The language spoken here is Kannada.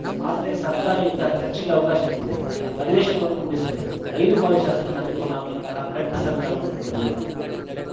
ಆದರೆ ಸರ್ಕಾರ ಇಂತಹ ಚರ್ಚೆಗೆ ಅವಕಾಶ ನೀಡಿದೆ ಅಧಿವೇಶನವನ್ನು ಮುಗಿಸಿದೆ ಐದು ಬಾರಿ ಶಾಸಕನಾಗಿರುವ ನಾನು ಇಂತಹ ಕೆಟ್ಟಸರ್ಕಾರವನ್ನು ನೋಡಿರಲಿಲ್ಲ